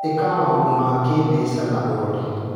ĩka maũndũ ma kĩmbeca na ũrori.